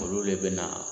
Olu le bɛ na